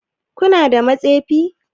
Kana da matsefi?